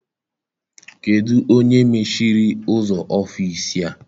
Kedụ onye mechiri ụzọ ọfịịsi a?